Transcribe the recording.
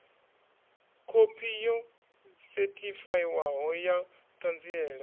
khophi yo sethifaiwaho ya ṱhanziela